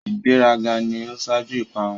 ìgbé rà gà ni o ṣaju ìparun.